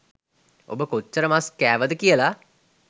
ඔබ කොච්චර මස් කෑවද කියලා